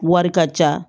Wari ka ca